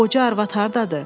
O qoca arvad hardadır?